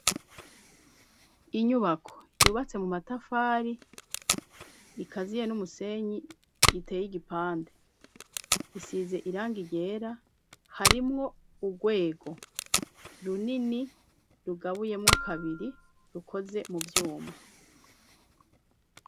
Inyubako yubatse mu matafari ikaziye n'umusenyi iteye igipande isize irangi ryera harimwo urwego runini rugabuyemwo kabiri rukoze mu vyuma.